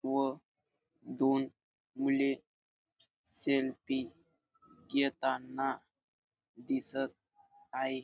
व दोन मुले सेल्फी घेताना दिसत आहे.